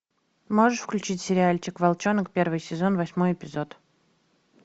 можешь включить сериальчик волчонок первый сезон восьмой эпизод